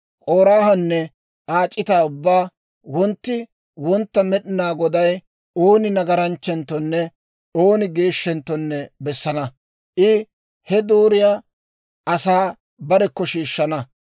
K'oraahanne Aa c'itaa ubbaa, «Wontti wontta Med'inaa Goday ooni nagaranchchenttonne ooni geeshshentto bessana; I he dooriyaa asaa barekko shiishshana.